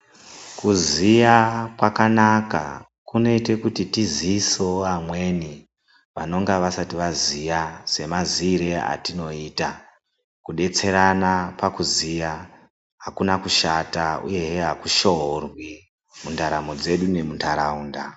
Kuziya kwakanaka kunoite kuti toziisevo amweni vanenge vasati vaziya semaziire atinoita. Kubetserana pakuziya hakuna kushata uyehe hakushorwi mundaramo dzedu nemuntarakunda.